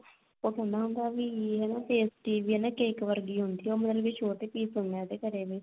ਤਾਂ ਉਹ ਕਹਿੰਦਾ ਹੁੰਦਾ ਵੀ ਹਨਾ pastry ਵੀ ਨਾ cake ਵਰਗੀ ਹੁੰਦੀ ਆ ਉਹ ਮਤਲਬ ਵੀ ਛੋਟੇ peace ਹੁਣੇ ਉਹਦੇ ਕਰੇ ਹੋਏ